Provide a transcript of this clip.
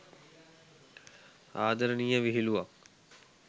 ආදරණීය විහිළුවක්.